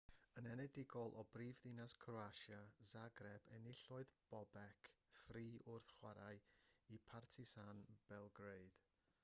yn enedigol o brifddinas croatia zagreb enillodd bobek fri wrth chwarae i partizan belgrade